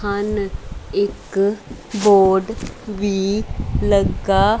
ਹਨ ਇੱਕ ਬੋਰਡ ਵੀ ਲੱਗਾ--